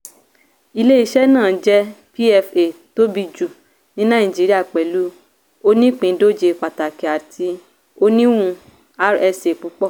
ilé-iṣẹ́ náà jẹ́ pfa tóbi jù ní nàìjíríà pẹ̀lú onípìíndòje pàtàkì àti oníwun rsa púpọ̀.